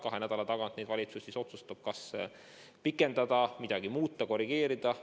Kahe nädala tagant valitsus otsustab, kas piiranguid pikendada või midagi muuta, korrigeerida.